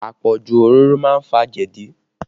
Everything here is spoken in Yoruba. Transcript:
Àpọ̀jù òróró má ń fa jẹ̀dí